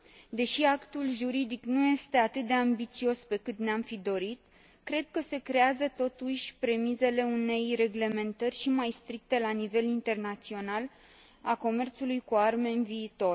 Deși actul juridic nu este atât de ambițios pe cât ne am fi dorit, cred că se creează totuși premizele unei reglementări și mai stricte, la nivel internațional, a comerțului cu arme în viitor.